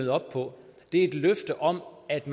eu om at